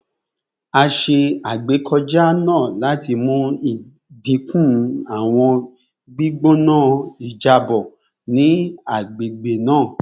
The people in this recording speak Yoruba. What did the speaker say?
A ṣe agbekọja naa lati mu idinku awọn gbigbona ijabọ ni agbegbe naa